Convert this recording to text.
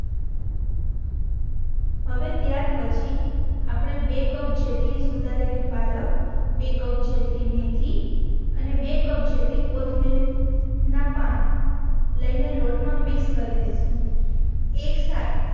હવે ત્યાર પછી આપણે બે કપ જેટલી સુધારેલી પાલક બે કપ જેટલી મેથી અને બે કપ જેટલી કોથમીર ના પાન લઈ ને લોટ માં મિક્સ કરી દેસું એક સાથે